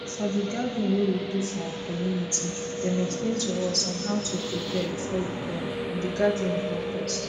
for d gathering wey we do for our community dem explain to us on how to prepare before you born and the gathering help us